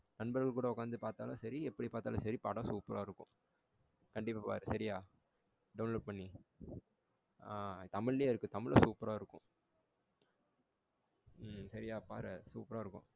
நண்பர்கள் கூட உட்கார்ந்து பார்த்தாலும் சரி எப்படி பார்த்தாலும் சரி படம் சூப்பரா இருக்கும். கண்டிப்பா பாரு சரியா? download பண்ணி ஆ தமிழிலேயே இருக்க தமிழும் சூப்பரா இருக்கும். ம் சரியா பாரு சூப்பரா இருக்கும்.